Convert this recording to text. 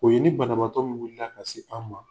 O ye ni banabaatɔ min wiila ka se an' ma